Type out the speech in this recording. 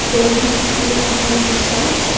Então a gente tinha uma condução só.